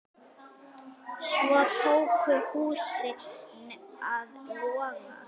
Svo tóku húsin að loga.